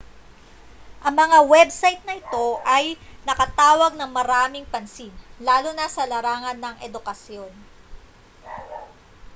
ang mga website na ito ay nakatawag ng maraming pansin lalo na sa larangan ng edukasyon